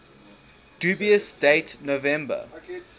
dubious date november